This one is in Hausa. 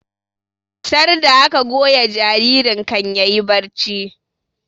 Sarda aka goya jaririn kan yayi barci